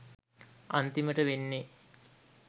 අන්තිමට වෙන්නේ